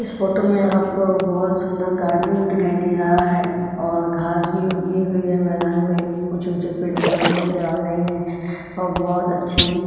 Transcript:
इस फोटो में आपको बहुत सुंदर गार्डन दिखाई दे रहा है और घास भी उगी हुई है मैदान में ऊँचे ऊँचे पेड़ पौधे नजर आ रहे है और बहुत अच्छी --